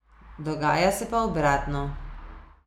Dogaja se pa obratno.